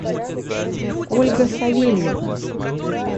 ольга савельевна